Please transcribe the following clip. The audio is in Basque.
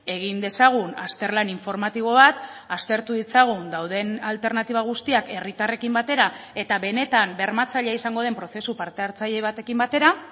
egin dezagun azterlan informatibo bat aztertu ditzagun dauden alternatiba guztiak herritarrekin batera eta benetan bermatzailea izango den prozesu partehartzaile batekin batera